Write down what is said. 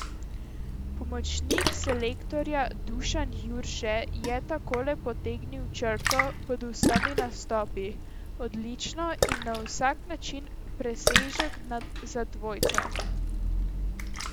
Pomočnik selektorja Dušan Jurše je takole potegnil črto pod vsemi nastopi: 'Odlično in na vsak način presežek za dvojca.